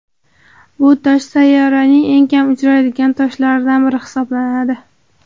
Bu tosh sayyoraning eng kam uchraydigan toshlaridan biri hisoblanadi.